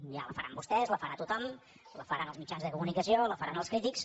ja la faran vostès la farà tothom la faran els mitjans de comunicació la faran els crítics